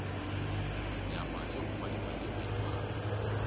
nyama yo huma ematikwena mambe